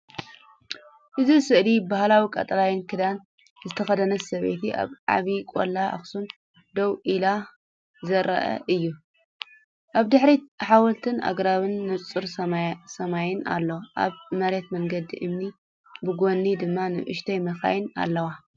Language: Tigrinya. እዚ ስእሊ ባህላዊ ቀጠልያ ክዳን ዝተኸድነት ሰበይቲ ኣብ ዓቢ ቆላ ኣክሱም ደው ኢላ ዘርኢ እዩ። ኣብ ድሕሪት ሓወልቲን ኣግራብን ንጹር ሰማይን ኣሎ። ኣብ መሬት መንገዲ እምኒ፡ ብጎኒ ድማ ንኣሽቱ መካይን ኣለዋ።